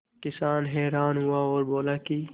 किसान हैरान हुआ और बोला कि